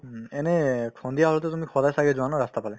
উম, এনে সন্ধিয়া হ'লেতো তুমি সদায় ছাগে যোৱা ন ৰাস্তাৰফালে